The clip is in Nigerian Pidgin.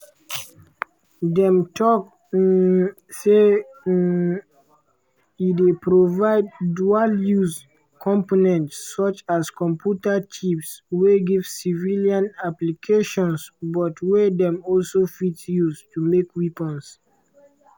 dem tok um say um e dey provide “dual-use” components such as computer chips wey get civilian applications but wey dem also fit use to make weapons.